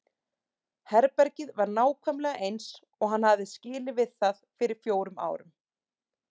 Herbergið var nákvæmlega eins og hann hafði skilið við það fyrir fjórum árum.